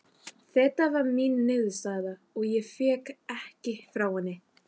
Þeta var mín niðurstaða og ég vék ekki frá henni.